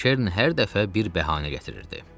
Lakin Kern hər dəfə bir bəhanə gətirirdi.